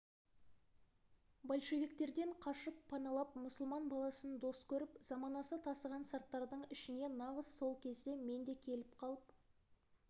большевиктерден қашып паналап мұсылман баласын дос көріп заманасы тасыған сарттардың ішіне нағыз сол кезде мен де келіп қалып